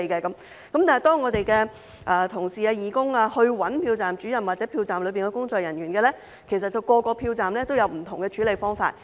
但是，當我們的同事、義工找投票站主任或投票站的工作人員時，其實每個投票站也有不同的處理方法。